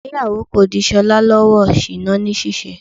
Ìgbéyàwó kò ṣí Ṣọlá lọ́wọ́ ṣìná ní ṣíṣe.